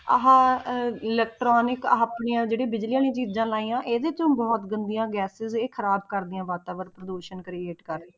ਆਹ ਅਹ electronic ਆਹ ਆਪਣੀਆਂ ਜਿਹੜੀਆਂ ਬਿਜ਼ਲੀ ਵਾਲੀਆਂ ਚੀਜ਼ਾਂ ਲਾਈਆਂ, ਇਹਦੇ ਚੋਂ ਬਹੁਤ ਗੰਦੀਆਂ gases ਇਹ ਖ਼ਰਾਬ ਕਰਦੀਆਂ ਵਾਤਾਵਰਨ ਪ੍ਰਦੂਸ਼ਣ create ਕਰ ਰਹੀ,